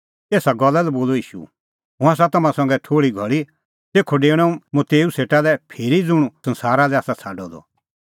एसा गल्ला लै बोलअ ईशू हुंह आसा तम्हां संघै थोल़ी घल़ी और तेखअ डेऊणअ मुंह तेऊ सेटा लै फिरी ज़ुंणी हुंह संसारा लै आसा छ़ाडअ द